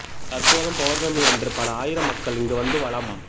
தற்போதும் பௌர்ணமி அன்று பல ஆயிரம் மக்கள் இங்கு வந்து வலம்